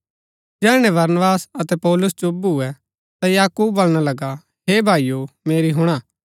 जैहणै बरनबास अतै पौलुस चुप भुऐ ता याकूब बलणा लगा हे भाईओ मेरी हुणा